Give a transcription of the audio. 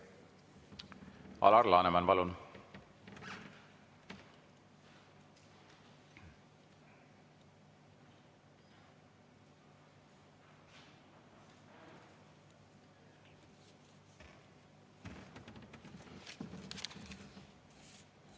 Alar Laneman, palun!